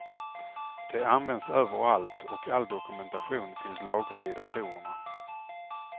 De används överallt och all dokumentation finns lagrad i datorerna.